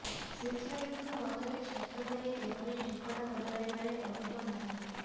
ଶିକ୍ଷାବିତ୍ଙ୍କ ମତରେ ଛାତ୍ରମାନେ ଏଭଳି ଠିକଣା ବଦଳାଇବାରେ ଅଧିକ ମାହିର